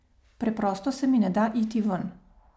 Preprosto se mi ne da iti ven.